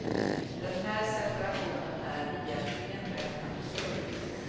Den här separationen är egentligen rätt absurd.